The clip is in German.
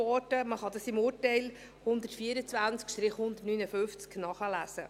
Man kann dies im Urteil 124 I 159 nachlesen.